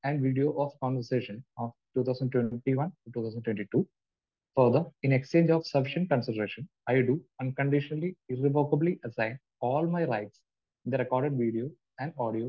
And video of conversation of 2021-2022 for the in exchange of sufficient consideration, I do unconditionally, irrevocably assign all my right. The record video and audio